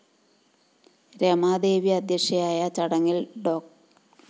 രമാദേവി അധ്യക്ഷയായ ചടങ്ങില്‍ ഡോ